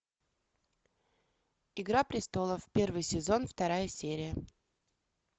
игра престолов первый сезон вторая серия